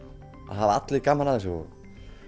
allir gaman af þessu og